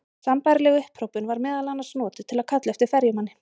Sambærileg upphrópun var meðal annars notuð til að kalla eftir ferjumanni.